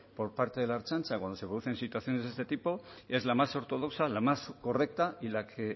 por parte de la ertzaintza cuando se producen situaciones de este tipo es la más ortodoxa la más correcta y la que